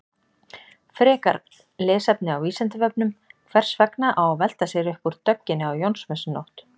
Frekara lesefni á Vísindavefnum: Hvers vegna á að velta sér upp úr dögginni á Jónsmessunótt?